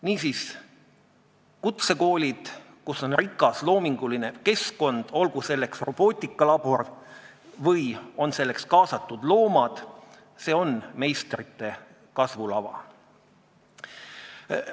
" Niisiis, kutsekoolid, kus on rikas loominguline keskkond, olgu seal robootikalabor või olgu selleks kaasatud loomad, on meistrite kasvulava.